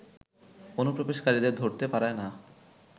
অনুপ্রবেশকারীদের ধরতে পারে না